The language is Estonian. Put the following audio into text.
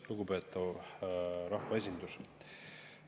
Lugupeetav rahvaesindus!